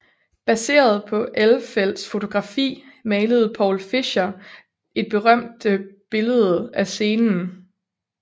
Baseret på Elfelts fotografi malede Paul Fischer et berømte billede af scenen